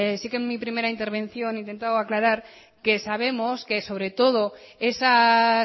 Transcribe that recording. sí que en mi primera intervención he intentado aclarar que sabemos que sobre todo esas